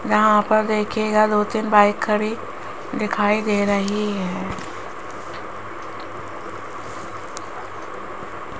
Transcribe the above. यहां पर देखिएगा दो तीन बाइक खड़ी दिखाई दे रही है।